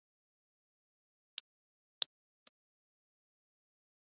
Heimir: Eða skjótast hreinlega bara í vinnuna eða í verslanir í Reykjavík?